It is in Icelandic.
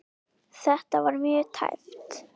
Þetta var mjög tæpt.